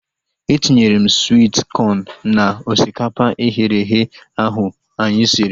Etinyere m swit kọn na osikapa eghere eghe ahu anyị siri